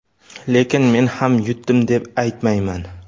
lekin men ham yutdim deb aytmayman.